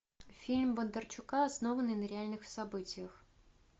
фильм бондарчука основанный на реальных событиях